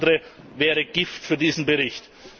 Alles andere wäre Gift für diesen Bericht.